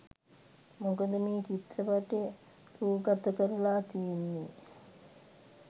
මොකද මේ චිත්‍රපටය රූගතකරලා තියෙන්නෙ